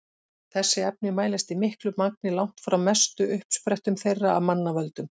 Þessi efni mælast í miklu magni langt frá mestu uppsprettum þeirra af mannavöldum.